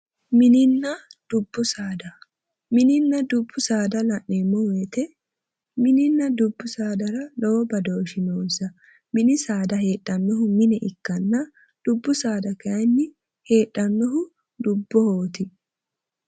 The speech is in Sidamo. Mininna dubbu saada. Mininna dubbu saada la'neemmo woyite mininna dubbu saadara lowo badooshshi noonsa. Mini saada heedhannohu mine ikkanna dubbu saada kayinni heedhannohu dubbohooti.